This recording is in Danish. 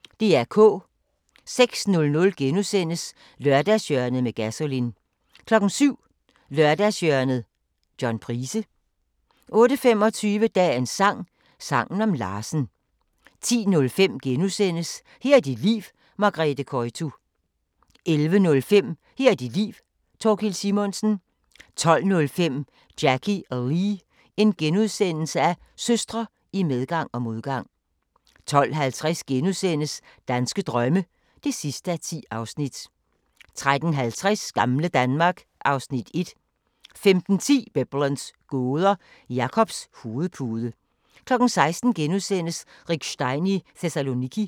06:00: Lørdagshjørnet med Gasolin * 07:00: Lørdagshjørnet - John Price 08:25: Dagens sang: Sangen om Larsen 10:05: Her er dit liv – Margrethe Koytu * 11:05: Her er dit liv - Thorkild Simonsen 12:05: Jackie og Lee – søstre i medgang og modgang * 12:50: Danske drømme (10:10)* 13:50: Gamle Danmark (Afs. 1) 15:10: Biblens gåder – Jakobs hovedpude 16:00: Rick Stein i Thessaloniki *